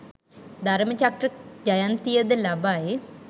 ධර්ම චක්‍ර ජයන්තිය ද ලබයි